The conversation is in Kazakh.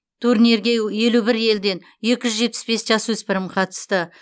турнирге елу бір елден екі жүз жетпіс бес жасөспірім қатысты